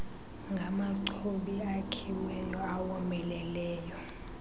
ngamachobi akhiweyo awomeleleyo